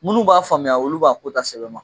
Minnu b'a faamuya olu b'a ko ta sɛbɛn ma.